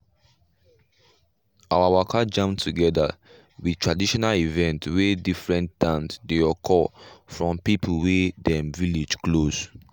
our waka jam together with traditional event wey different dance dey occur from people wey dem village close.